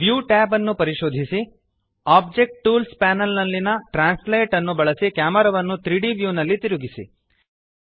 view tab ನ್ನು ಪರಿಶೋಧಿಸಿ object tools panel ನಲ್ಲಿಯ ಟ್ರಾನ್ಸ್ಲೇಟ್ ನ್ನು ಬಳಸಿ ಕ್ಯಾಮೆರಾವನ್ನು 3ದ್ ವ್ಯೂನಲ್ಲಿ ತಿರುಗಿಸಿ